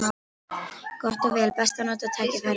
Gott og vel: best að nota tækifærið.